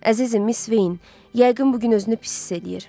Əzizim Miss Vein, yəqin bu gün özünü pis hiss eləyir.